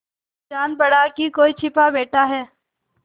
जान पड़ा कि कोई छिपा बैठा है